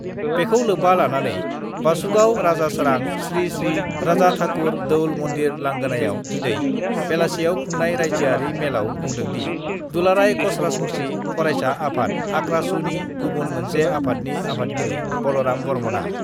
बेखौ लोब्बा लानानै बासुगाव राजासारां श्रीश्री राजाठाकुर दौल मन्दिर लांगोनायाव दिनै बेलासियाव खुंनाय राइज्योयारि मेलयाव बुंदोंदि, दुलाराय कशराजबंसि फरायसा आफाद (आक्रासु) नि गुबुन मोनसे आफादनि आफादगिरि बलराम बर्मनआ।